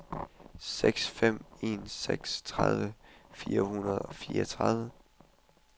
seks fem en seks tredive fire hundrede og fireogtredive